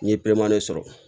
N'i ye bilenmanin sɔrɔ